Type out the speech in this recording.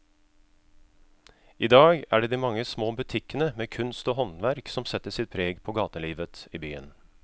I dag er det de mange små butikkene med kunst og håndverk som setter sitt preg på gatelivet i byen.